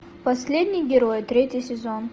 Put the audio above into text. последний герой третий сезон